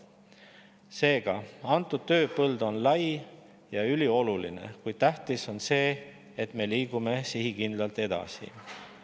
Seega, tööpõld on lai ja ülioluline, kuid on tähtis, et me liigume sihikindlalt edasi.